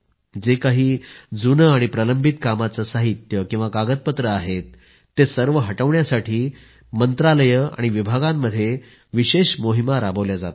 जे काही जुने आणि प्रलंबित कामांचे साहित्य कागदपत्रे आहेत ते सर्व हटविण्यासाठी मंत्रालये आणि विभागांमध्ये विशेष मोहिमा राबविल्या जात आहेत